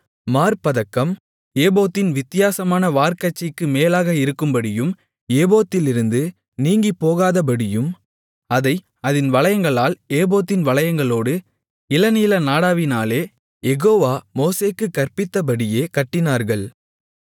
மார்ப்பதக்கம் ஏபோத்தின் வித்தியாசமான வார்க்கச்சைக்கு மேலாக இருக்கும்படியும் ஏபோத்திலிருந்து நீங்கிப்போகாதபடியும் அதை அதின் வளையங்களால் ஏபோத்தின் வளையங்களோடு இளநீல நாடாவினாலே யெகோவா மோசேக்குக் கற்பித்தப்படியே கட்டினார்கள்